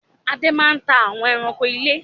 Adé máa ń ta àwọn ẹranko ilé